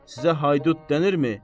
Sizə haydud denirmi?